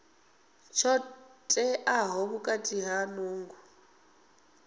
tsho teaho khathihi na nungo